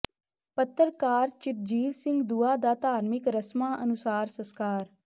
ਪੱਤਰਕਾਰ ਚਿਰਜੀਵ ਸਿੰਘ ਦੂਆ ਦਾ ਧਾਰਮਿਕ ਰਸਮਾਂ ਅਨੁਸਾਰ ਸਸਕਾਰ